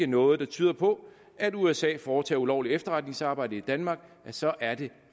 noget der tyder på at usa foretager ulovligt efterretningsarbejde i danmark så er det